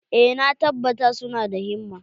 Eh, na tabbata su na da himma.